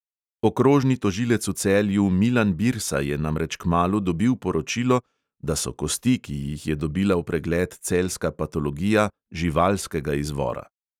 Okrožni tožilec v celju milan birsa je namreč kmalu dobil poročilo, da so kosti, ki jih je dobila v pregled celjska patologija – živalskega izvora.